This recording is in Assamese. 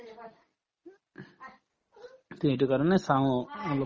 তে সেইটো কাৰণে চাওঁ অ অলপ